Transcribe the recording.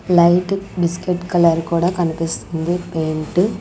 Light biscuit colour కూడా కనిపిస్తుంది paint .